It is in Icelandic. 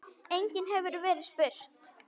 Einnig hefur verið spurt